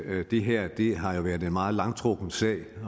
at det her har været en meget langtrukken sag